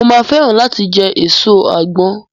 Mo máa fẹ́ràn láti jẹ èso àgbọn.